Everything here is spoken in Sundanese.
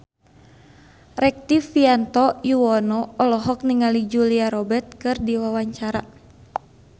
Rektivianto Yoewono olohok ningali Julia Robert keur diwawancara